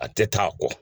A tɛ taa a kɔ